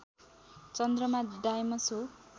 चन्द्रमा डाइमस हो